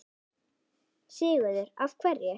Sigurður: Af hverju?